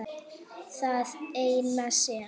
Það eina sem